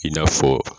I n'a fɔ